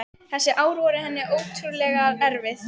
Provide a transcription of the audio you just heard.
Þessi ár voru henni ótrúlega erfið.